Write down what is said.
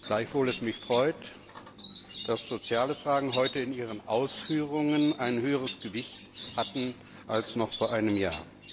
Gleichwohl freut es mich, dass soziale Fragen heute in Ihren Ausführungen ein höheres Gewicht hatten als noch vor einem Jahr.